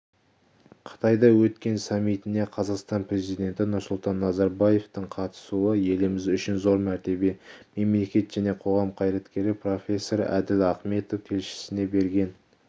қытайда өткен саммитіне қазақстан президенті нұрсұлтан назарбаевтың қатысуы еліміз үшін зор мәртебе мемлекет және қоғам қайраткері профессор әділ ахметов тілшісіне берген